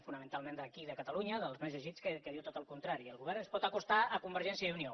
fonamentalment d’aquí de catalunya dels més llegits que diu tot el contrari el govern es pot acostar a convergència i unió